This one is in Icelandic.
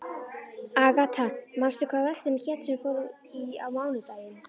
Agatha, manstu hvað verslunin hét sem við fórum í á mánudaginn?